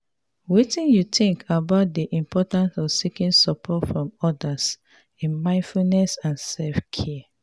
wetin you think about di importance of seeking support from odas in mindfulness and self-care?